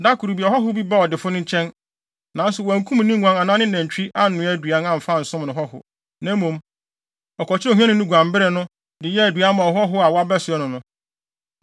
“Da koro bi, ɔhɔho bi baa ɔdefo no nkyɛn, nanso wankum ne nguan anaa ne nantwi annoa aduan amfa ansom no hɔho. Na mmom, ɔkɔkyeree ohiani no guanbere no, de yɛɛ aduan maa ɔhɔho a wabɛsoɛ no no.”